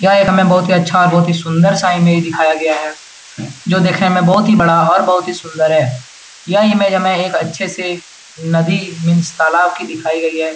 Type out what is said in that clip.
यह एक हमें बहुत ही अच्छा और बहुत ही सुंदर सा इमेज दिखाया गया है जो देखने में बहुत ही बड़ा और बहुत ही सुंदर है। यह इमेज हमें एक अच्छे से नदी मीन्स तालाब की दिखाई गई है।